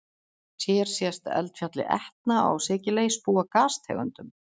Hér sést eldfjallið Etna á Sikiley spúa gastegundum.